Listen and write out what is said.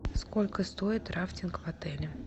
сколько стоит рафтинг в отеле